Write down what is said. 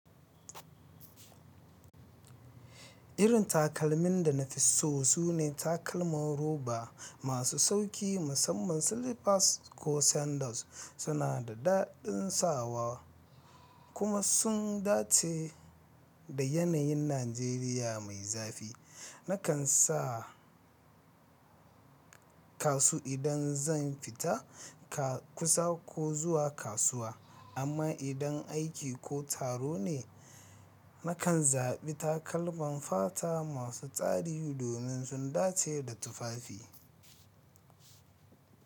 Irin takalmin da na fi so sune takalman roba masu sauƙi, musamman slippers ko sandals. Suna da daɗin sawa kuma sun dace da yanayin Najeriya mai zafi. Nakan sa kasu idan zan fita kusa ko zuwa kasuwa, amma idan aiki ko taro ne, nakan zaɓi takalman fata masu tsari domin sun dace da tufafi.